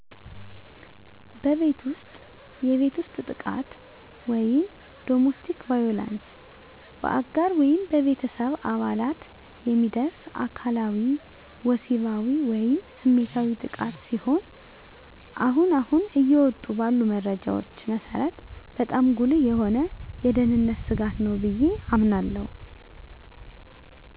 በቤት ውስጥ የቤት ውስጥ ጥቃት (Domestic Violence): በአጋር ወይም በቤተሰብ አባላት የሚደርስ አካላዊ፣ ወሲባዊ ወይም ስሜታዊ ጥቃት ሲሆን አሁን አሁን እየወጡ ባሉ መረጃዎች መሰረት በጣም ጉልህ የሆነ የደህንነት ስጋት ነው ብየ አምናለሁ።